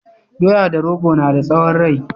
Doya da rogo na da tsawon rai